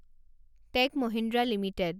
tech Mahindra limited